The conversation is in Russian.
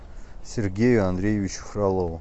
сергею андреевичу фролову